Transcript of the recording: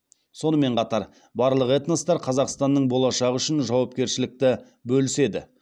сонымен қатар барлық этностар қазақстанның болашағы үшін жауапкершілікті бөліседі